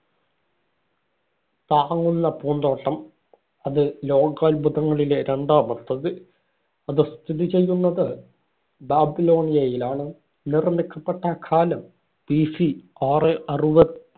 താങ്ങുന്ന പൂന്തോട്ടം. അത് ലോകാത്ഭുതങ്ങളിലെ രണ്ടാമത്തേത്. അത് സ്ഥിതി ചെയ്യുന്നത് ബാബിലോണിയയിലാണ്. നിര്‍മ്മിക്കപ്പെട്ട കാലം BC ആറെ അറുപത്